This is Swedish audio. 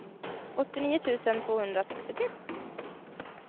åttionio tusen tvåhundrasextiotre